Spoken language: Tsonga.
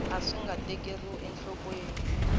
a swi nga tekeriwi enhlokweni